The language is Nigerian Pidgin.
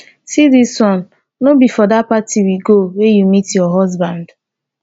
see dis one. no be for dat party we go wey you meet your husband.